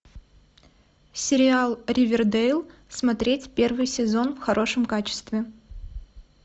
сериал ривердейл смотреть первый сезон в хорошем качестве